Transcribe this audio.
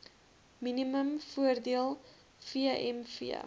minimum voordele vmv